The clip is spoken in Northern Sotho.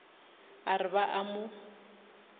a re ba a mo